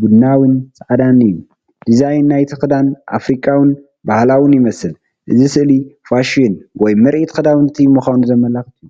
ቡናዊን ጻዕዳን እዩ። ዲዛይን ናይቲ ክዳን ኣፍሪቃውን ባህላውን ይመስል፡ እዚ ስእሊ ፋሽን ወይ ምርኢት ክዳውንቲ ምዃኑ ዘመልክት እዩ።